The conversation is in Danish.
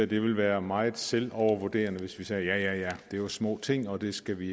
det ville være meget selvovervurderende hvis vi sagde at det er små ting og det skal vi